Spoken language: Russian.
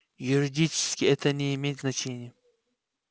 юридически это не имеет значения